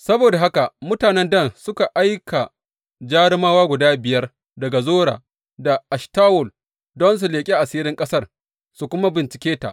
Saboda haka mutanen Dan suka aika jarumawa guda biyar daga Zora da Eshtawol don su leƙi asirin ƙasar su kuma bincike ta.